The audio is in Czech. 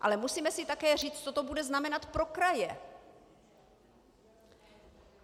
Ale musíme si také říct, co to bude znamenat pro kraje.